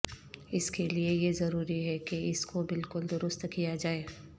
اس کے لئے یہ ضروری ہے کہ اس کو بالکل درست کیا جائے